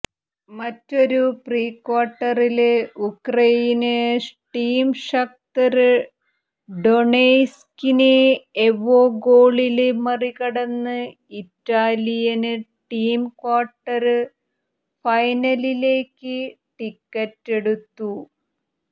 മറ്റൊരു പ്രീക്വാര്ട്ടറില് Ukraine team Shakhtar ഡൊണെസ്കിനെ എവേ ഗോളില് മറികടന്ന് ഇറ്റാലിയന് ടീം ക്വാര്ട്ടര് ഫൈനലിലേക്ക് ടിക്കറ്റെടുത്തു